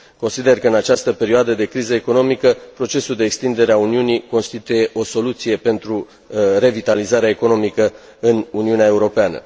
Consider că în această perioadă de criză economică procesul de extindere a Uniunii constituie o soluție pentru revitalizarea economică în Uniunea Europeană.